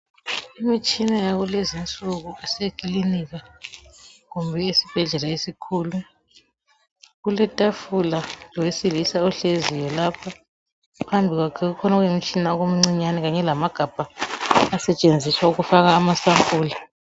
Imitshina yakulezinsuku esekilinika kumbe esibhedlela esikhulu kuletafula lowesilisa ohleziyo lapho phambi kwakhe kukhona okungumtshina okuncinyane kanye lamagabha asetshenziswa ukufaka amasampula.